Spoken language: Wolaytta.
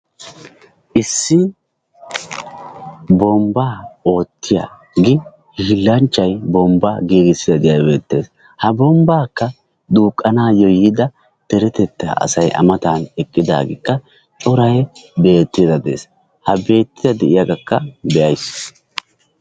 Issi bombbaa oottiyagee hiillanchchay bombbaa giigisaiiddi de'iyagee beettees. Ha bombbaakka duuqqanaayyo yiida deretetta asay a matan eqqidaageekka coray beettiiddi de'es. Ha beettiiddi de'iyagaakka be'ayis.